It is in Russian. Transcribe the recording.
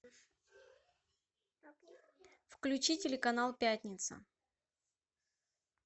включи телеканал пятница